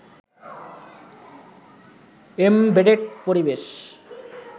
embedded পরিবেশ